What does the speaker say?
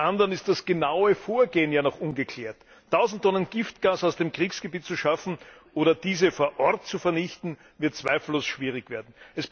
Zum anderen ist das genaue Vorgehen ja noch ungeklärt. Tausend Tonnen Giftgas aus dem Kriegsgebiet zu schaffen oder diese vor Ort zu vernichten, wird zweifellos schwierig werden.